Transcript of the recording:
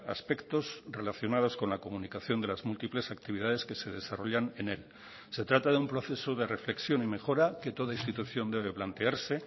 aspectos relacionados con la comunicación de las múltiples actividades que se desarrollan en él se trata de un proceso de reflexión y mejora que toda institución debe plantearse